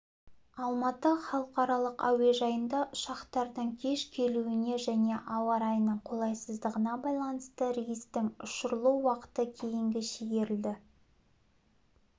алматы халықаралық әуежайында ұшақтардың кеш келуіне және ауа райының қолайсыздығына байланысты рейстің ұшырылу уақыты кейінге шегерілді